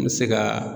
N bɛ se ka